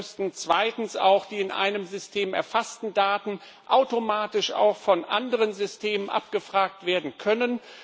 Dabei müssten zweitens die in einem System erfassten Daten automatisch auch von anderen Systemen abgefragt werden können.